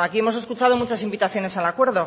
aquí hemos escuchado muchas invitaciones al acuerdo